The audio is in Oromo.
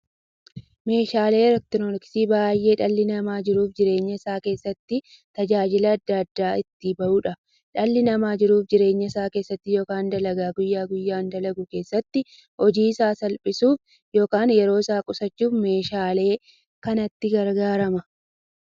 Meeshaaleen elektirooniksii meeshaalee dhalli namaa jiruuf jireenya isaa keessatti, tajaajila adda addaa itti bahuudha. Dhalli namaa jiruuf jireenya isaa keessatti yookiin dalagaa guyyaa guyyaan dalagu keessatti, hojii isaa salphissuuf yookiin yeroo isaa qusachuuf meeshaalee kanatti gargaarama.